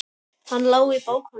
Hann lá í bókum.